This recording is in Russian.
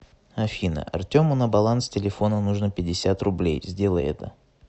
афина артему на баланс телефона нужно пятьдесят рублей сделай это